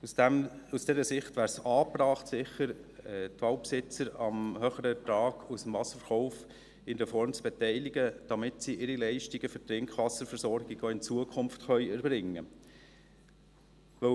Aus dieser Sicht wäre es sicher angebracht, die Waldbesitzer am höheren Ertrag aus dem Wasserverkauf in irgendeiner Form zu beteiligen, damit sie ihre Leistungen für die Trinkwasserversorgung auch in Zukunft erbringen können.